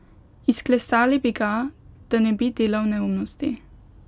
Izklesali bi ga, da ne bi delal neumnosti.